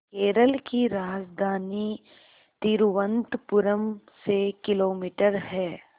केरल की राजधानी तिरुवनंतपुरम से किलोमीटर है